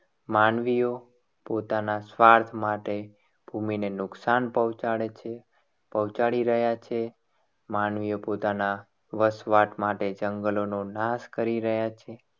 માનવીઓ પોતાના સ્વાર્થ માટે ભૂમિને નુકસાન પહોંચાડે છે. પહોંચાડી રહ્યા છે. માનવીઓ પોતાના વસવાટ માટે જંગલોનો નાશ કરી રહ્યા છે.